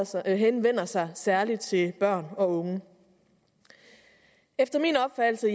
så den henvender sig særlig til børn og unge efter min opfattelse